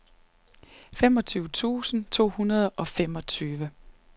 femogtyve tusind to hundrede og femogtyve